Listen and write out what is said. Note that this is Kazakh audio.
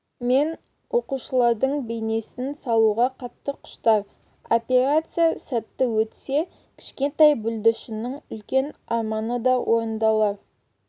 мен оқушылардың бейнесін салуға қатты құштар операция сәтті өтсе кішкентай бүлдіршіннің үлкен арманы да орындалар